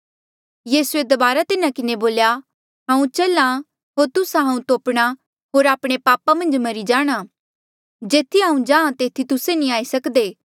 यीसूए दबारा तिन्हा किन्हें बोल्या हांऊँ चल्हा होर तुस्सा हांऊँ तोपणा होर आपणे पापा मन्झ मरी जाणां जेथी हांऊँ जाहाँ तेथी तुस्से नी आई सक्दे